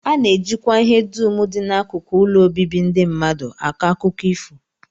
A na-ejikwa ihe dum dị n'akụkụ ụlọ obibi ndị mmadụ akọ akụkọ ifo